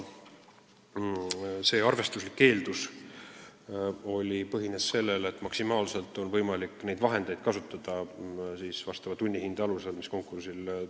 See arvestuslik eeldus põhines sellel, et maksimaalselt on võimalik neid vahendeid kasutada siis, kui tunnihinne on selline.